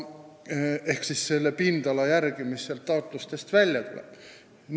Ehk aluseks on pindala, mis neist taotlustest välja tuleb.